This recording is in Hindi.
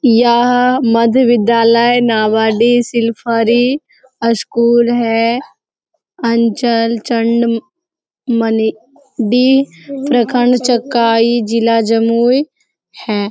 यह मध्य विद्यालय नावाडीह सिलफरी स्कूल है अंचल चण्ड मनी डी प्रखंड चकाई जिला जमुई है।